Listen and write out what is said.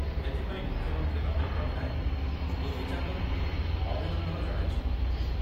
ଏଥିପାଇଁ ମୁଖ୍ୟମନ୍ତ୍ରୀ ନବୀନ ପଟ୍ଟନାୟକ ଦୁତି ଚାନ୍ଦଙ୍କୁ ଅଭିନନ୍ଦନ ଜଣାଇଛନ୍ତି।